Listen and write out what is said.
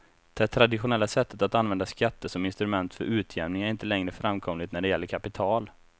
Det traditionella sättet att använda skatter som instrument för utjämning är inte längre framkomligt när det gäller kapital.